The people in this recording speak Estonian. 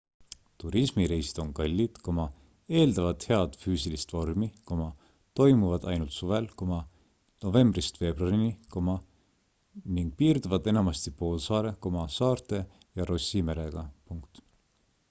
turismireisid on kallid eeldavad head füüsilist vormi toimuvad ainult suvel novembrist veebruarini ning piirduvad enamasti poolsaare saarte ja rossi merega